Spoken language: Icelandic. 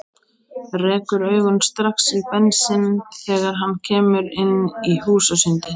Rekur augun strax í Bensinn þegar hann kemur inn í húsasundið.